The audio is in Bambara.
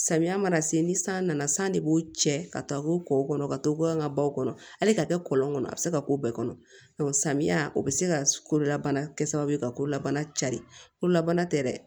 Samiya mana se ni san nana san de b'o cɛ ka taa fo kɔw kɔnɔ ka to an ka baw kɔnɔ hali ka kɛ kɔlɔn kɔnɔ a bɛ se ka k'o bɛɛ kɔnɔ samiya o bɛ se ka kololabana kɛ sababu ye ka kolabana cari kolabana tɛ dɛ